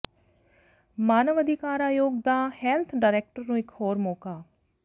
ਮਾਨਵ ਅਧਿਕਾਰ ਅਯੋਗ ਦਾ ਹੈਲਥ ਡਾਇਰੈਕਟਰ ਨੂੰ ਇੱਕ ਹੋਰ ਮੌਕਾ